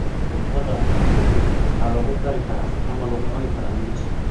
Khudradda beetroot waxaa lagu karin karaa ama lagu cuni karaa mbich.